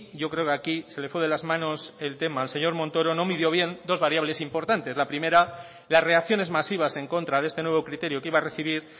yo creo que aquí se le fue de las manos el tema al señor montoro no midió bien dos variables importantes la primera las reacciones masivas en contra de este nuevo criterio que iba a recibir